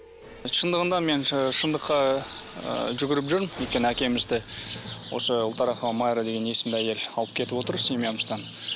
шындығында мен шындыққа ы жүгіріп жүрмін өйткені әкемізді осы ұлтарақова майра деген есімді әйел алып кетіп отыр семьямыздан